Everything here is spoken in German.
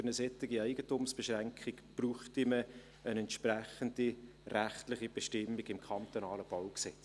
Für eine solche Eigentumsbeschränkung bräuchten wir eine entsprechende rechtliche Bestimmung im kantonalen BauG.